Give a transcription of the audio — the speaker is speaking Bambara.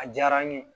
A diyara n ye